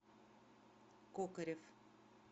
кокарев